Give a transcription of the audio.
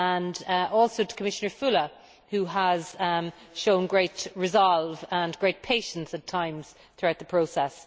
Congratulations also to Commissioner Füle, who has shown great resolve and great patience at times throughout the process.